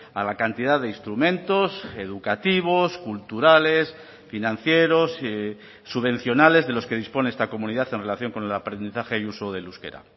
a la cantidad de instrumentos educativos culturales financieros subvencionales de los que dispone esta comunidad en relación con el aprendizaje y uso del euskera